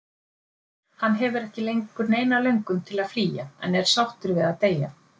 Hann hefur ekki lengur neina löngun til að flýja, en er sáttur við að deyja.